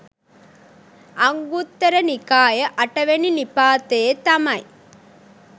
අංගුත්තර නිකාය අටවෙනි නිපාතයේ තමයි